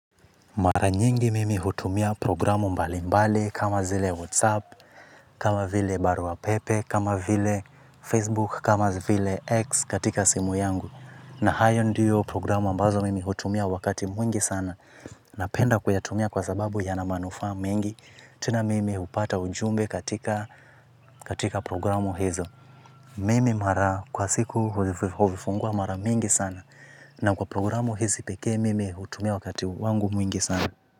Mara nyingi mimi hutumia programu mbali mbali kama zile Whatsapp, kama vile baruapepe, kama vile Facebook, kama vile X katika simu yangu. Na hayo ndiyo programu ambazo mimi hutumia wakati mwingi sana. Napenda kuyatumia kwa sababu ya na manufaa mengi. Tena mimi hupata ujumbe katika programu hizo. Mimi mara kwa siku huzivifungua mara mingi sana. Na kwa programu hizi peke mimi hutumia wakati wangu mwingi sana.